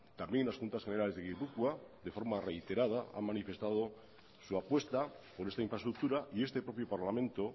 también las juntas generales de gipuzkoa de forma reiterada han manifestado su apuesta por esta infraestructura y este propio parlamento